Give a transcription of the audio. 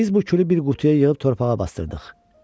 Biz bu külü bir qutuya yığıb torpağa basdırdıq.